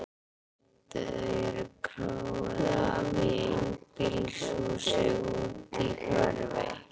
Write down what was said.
Þau eru króuð af í einbýlishúsi úti í úthverfi.